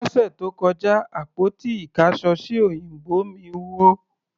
Lọ́sẹ̀ tó kọjá, àpótí ìkáṣọsí òyìnbó mí wó.